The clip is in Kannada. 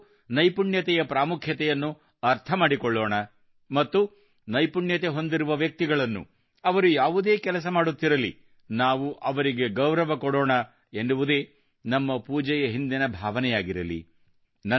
ನಾವು ನೈಪುಣ್ಯತೆಯ ಪ್ರಾಮುಖ್ಯತೆಯನ್ನು ಅರ್ಥ ಮಾಡಿಕೊಳ್ಳೋಣ ಮತ್ತು ನೈಪುಣ್ಯತೆ ಹೊಂದಿರುವ ವ್ಯಕ್ತಿಗಳನ್ನು ಅವರು ಯಾವುದೇ ಕೆಲಸ ಮಾಡುತ್ತಿರಲಿ ನಾವು ಅವರಿಗೆ ಗೌರವ ಕೊಡೋಣ ಎನ್ನುವುದೇ ನಮ್ಮ ಪೂಜೆಯ ಹಿಂದಿನ ಭಾವನೆಯಾಗಿರಲಿ